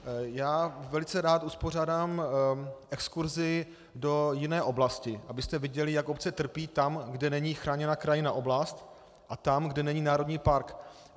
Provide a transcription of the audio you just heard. Já velice rád uspořádám exkurzi do jiné oblasti, abyste viděli, jak obce trpí tam, kde není chráněná krajinná oblast, a tam, kde není národní park.